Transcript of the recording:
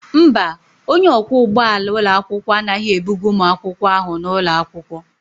Mba, onye ọkwọ ụgbọala ụlọakwụkwọ anaghị ebuga ụmụ akwụkwọ ahụ n'ụlọ akwụkwọ.